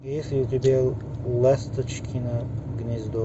есть у тебя ласточкино гнездо